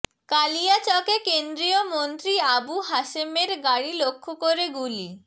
কালিয়াচকে কেন্দ্রীয় মন্ত্রী আবু হাসেমের গাড়ি লক্ষ্য করে গুলি